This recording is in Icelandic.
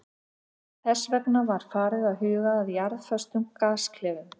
Þess vegna var farið að huga að jarðföstum gasklefum.